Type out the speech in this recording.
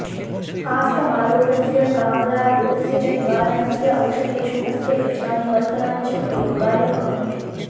आस्तमारोगस्य कामलारोगस्य च निवारणस्य औषधेषु अस्य बीजानि वल्कलानि च उपयोगाय भवन्ति